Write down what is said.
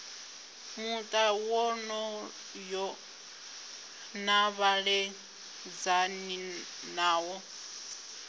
muta wonoyo na vhaledzani nawo